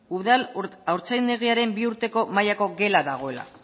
udal haurtzaindegiaren bi urteko mailako gela dagoela